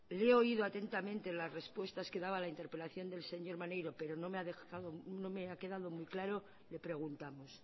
le he oído atentamente las respuestas que daba la interpelación del señor maneiro pero no me ha quedado muy claro le preguntamos